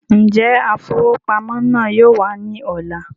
Njẹ afowópamọ́ náà yóò wà ní ọ̀la?